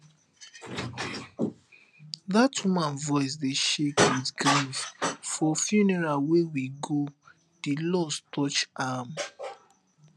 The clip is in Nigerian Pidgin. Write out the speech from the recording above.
dat woman voice dey shake with grief for funeral wey we go di loss touch am